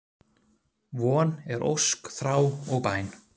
Von er ósk, þrá og bæn.